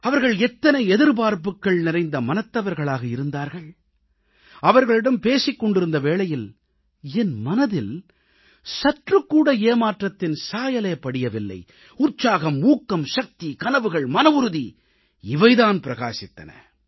அவர்கள் எத்தனை எதிர்பார்ப்புக்கள் நிறைந்த மனத்தவர்களாக இருந்தார்கள் அவர்களிடம் பேசிக் கொண்டிருந்த வேளையில் என் மனதில் சற்றுக்கூட ஏமாற்றத்தின் சாயலே படியவில்லை உற்சாகம் ஊக்கம் சக்தி கனவுகள் மனவுறுதி தான் பிரகாசித்தன